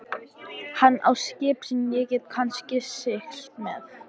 Hann á skip sem ég get kannski siglt með.